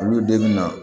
Olu den bɛ na